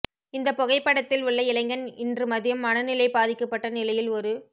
இந்த புகைபடத்தில் உள்ள இளைஞன் இன்று மதியம் மனநிலை பாதிக்கப்பட்ட நிலையில் ஒரு